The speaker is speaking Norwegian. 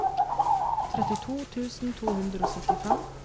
trettito tusen to hundre og syttifem